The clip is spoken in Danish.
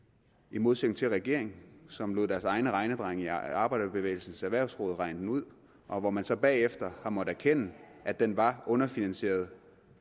i modsætning til regeringen som lod deres egne regnedrenge i arbejderbevægelsens erhvervsråd regne den ud og hvor man så bagefter har måttet erkende at den var underfinansieret